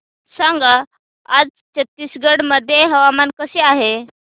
सांगा आज छत्तीसगड मध्ये हवामान कसे आहे